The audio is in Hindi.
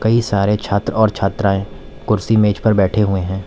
कई सारे छात्र और छात्राएं कुर्सी मेज पर बैठे हुए हैं।